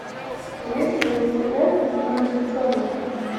есть ли у тебя люди в черном